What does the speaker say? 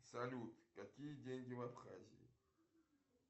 салют какие деньги в абхазии